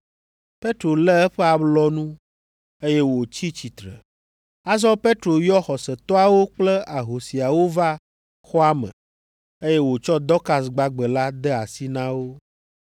Petro lé eƒe alɔnu, eye wòtsi tsitre. Azɔ Petro yɔ xɔsetɔawo kple ahosiawo va xɔa me, eye wòtsɔ Dɔkas gbagbe la de asi na wo.